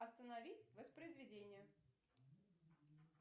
остановить воспроизведение